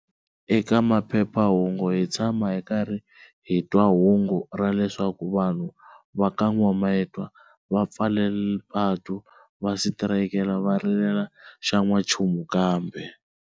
Eka maphephahungu hi tshama hi karhi hitwa hungu ra leswaku vanhu va ka Nwamitwa va pfale patu va sitirayika va rilela xa nwa nchumu kambe.